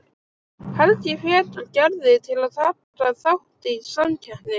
Helgi hvetur Gerði til að taka þátt í samkeppninni.